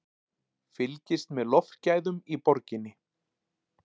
Fylgist með loftgæðum í borginni